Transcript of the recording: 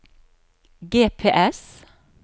GPS